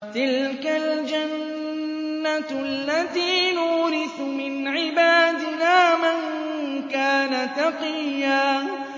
تِلْكَ الْجَنَّةُ الَّتِي نُورِثُ مِنْ عِبَادِنَا مَن كَانَ تَقِيًّا